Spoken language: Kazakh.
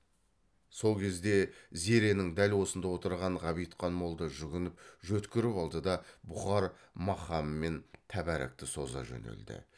сол кезде зеренің дәл осында отырған ғабитхан молда жүгініп жөткіріп алды да бұхар мақамымен тәбәрәкті соза жөнелді